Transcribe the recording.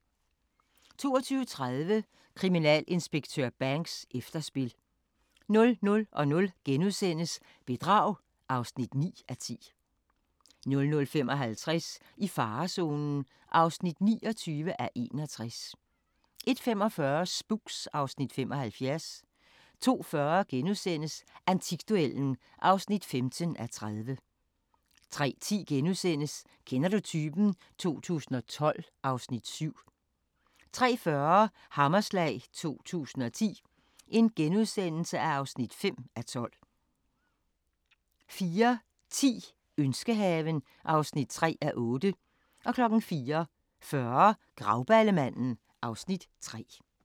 22:30: Kriminalinspektør Banks: Efterspil 00:00: Bedrag (9:10)* 00:55: I farezonen (29:61) 01:45: Spooks (Afs. 75) 02:40: Antikduellen (15:30)* 03:10: Kender du typen? 2012 (Afs. 7)* 03:40: Hammerslag 2010 (5:12)* 04:10: Ønskehaven (3:8) 04:40: Grauballemanden (Afs. 3)